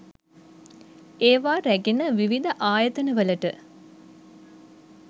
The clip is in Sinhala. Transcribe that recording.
ඒවා රැගෙන විවිධ ආයතනවලට